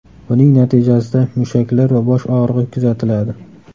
Buning natijasida mushaklar va bosh og‘rig‘i kuzatiladi.